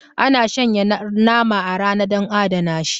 Ana shanya nama a rana dan a adana shi